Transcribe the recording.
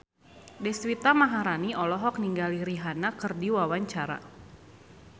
Deswita Maharani olohok ningali Rihanna keur diwawancara